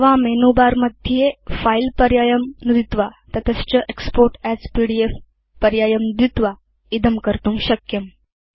अथवा मेनुबारमध्ये फिले पर्यायं नुदित्वा तत च एक्स्पोर्ट् अस् पीडीएफ पर्यायं नुदित्वा इदं कर्तुं शक्यम्